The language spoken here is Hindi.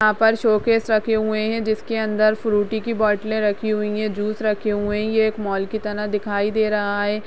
यहाँ पर शो केस रखे हुए हैं जिसके अंदर फ्रूटी की बोटलें रखी हुई हैं जूस रखे हुए हैं ये एक मॉल की तरह दिखाई दे रहा है।